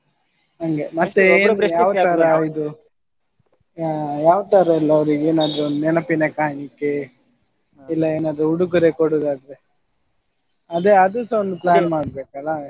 ಹಂಗೆ ಆ ಯಾವ ತರಾ ಎಲ್ಲ ಅವ್ರಿಗೆ ಏನಾದ್ರು ನೆನಪಿನ ಕಾಣಿಕೆ ಇಲ್ಲ ಏನಾದ್ರು ಉಡುಗೊರೆ ಕೊಡುದಾದ್ರೆ ಅದೇ ಅದುಸ ಒಂದು ಮಾಡ್ಬೇಕಲ್ಲ.